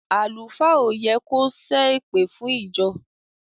Àlùfáà o yẹ kò se èpèfún ìjọ.